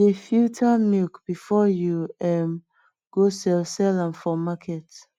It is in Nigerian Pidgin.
de filter milk before you um go sell sell am for market